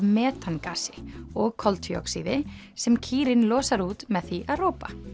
metangasi og koltvíoxíði sem kýrin losar út með því að ropa